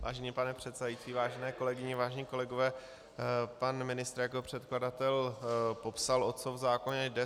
Vážený pane předsedající, vážené kolegyně, vážení kolegové, pan ministr jako předkladatel popsal, o co v zákoně jde.